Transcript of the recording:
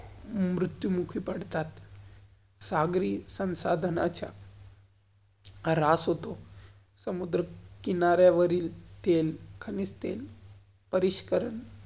मृत्यु मुखी पडतात. सागरी संसधानाच्या रास येतो. समुद्र किनार्या वरील तेल, तेल परिष्करण